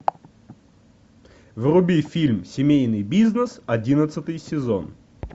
вруби фильм семейный бизнес одиннадцатый сезон